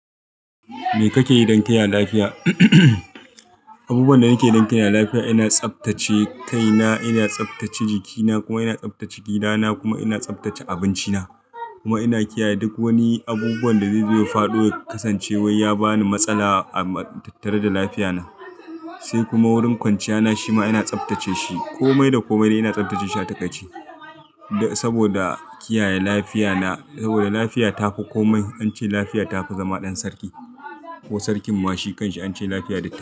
Me kake yi don kaya lafiya? Abubuwan da nake yi don kaya lafiya, ina tsaftace kaina, ina tsaftace jikina kuma ina tsaftace gidana kuma ina tsaftace abinci na. Kuma ina kiyaye duk wani abubuwan da zai zo ya fado ya kasance wai ya bani matsala a tattare da lafiya na. Sai kuma wurin kwanciya na shi ma ina tsaftace shi komai da komai dai ina tsaftace shi a takaci. Da saboda kiyaye lafiya na, saboda lafiya tafi komai, an ce lafiya tafi zama ɗan sarki. Ko sarkin ma shi kan shi an ce lafiya da kai.